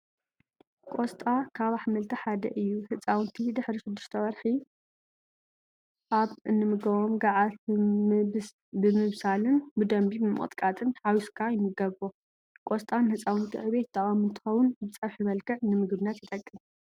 ቆስጣ ካብ ኣሕምልቲ ሓደ እዩ። ህፃውንቲ ድሕሪ 6ተ ወርሒ ኣብ እንምግቦም ጓዓት ብምብሳንን ብደንቢ ብምቅጥቃጥን ሓዊስኻ ይምገብዎ። ቆስጣ ንህፃውንቲ ዕብየት ጠቃሚ እንትኸውን ብፀብሒ መልክዕ ንምግብነት ይጠቅም።